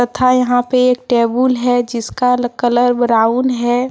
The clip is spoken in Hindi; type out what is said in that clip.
तथा यहा पे एक टेबुल है जिसका कलर ब्राऊन है।